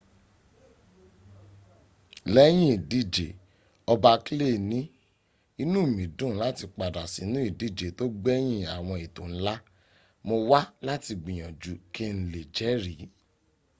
lẹ́yìn ìdìje ọba clay ní inú mi dùn láti padà sínú ìdíje tó gbẹ̀yìn àwọn ètò ńlá. mo wá láti gbìyànjú kí n lè jẹri.